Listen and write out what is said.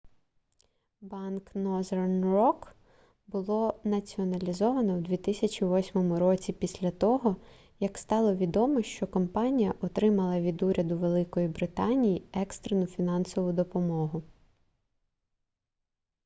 банк northern rock було націоналізовано в 2008 році після того як стало відомо що компанія отримала від уряду великої британії екстрену фінансову допомогу